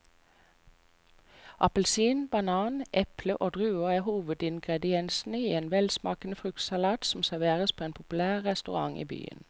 Appelsin, banan, eple og druer er hovedingredienser i en velsmakende fruktsalat som serveres på en populær restaurant i byen.